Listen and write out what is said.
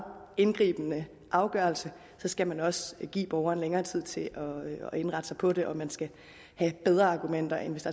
indgribende afgørelse skal man også give borgeren længere tid til at indrette sig på det og man skal have bedre argumenter end hvis